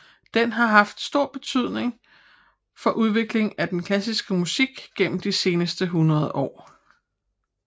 Den har haft en stor betydning for udviklingen af den klassiske musik gennem de seneste hundrede år